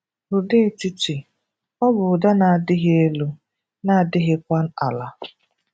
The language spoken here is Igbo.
Ụda Etiti: Ọ bụ ụda na-adịghị elu, na-adịghịkwa àlà